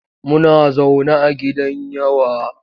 Muna zaune a gidan yawa.